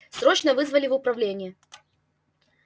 срочно вызвали в управление